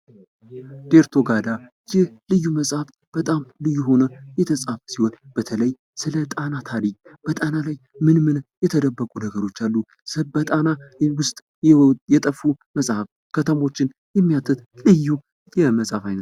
ዴርቶጋዳ ይህ ልዩ መጽሐፍ በጣም ልዩ ሆኖ የተፃፈ ሲሆን በተለይ ስለ ጣና ታሪክ በጣና ላይ ምን ምን የተደበቁ ነገሮች አሉ። የጠፉ መጽሃፍት ከተሞችን የሚያትልዩ የመጽሐፍ አይነት....